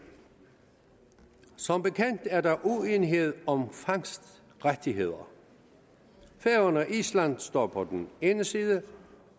som bekendt er der uenighed om fangstrettigheder færøerne og island står på den ene side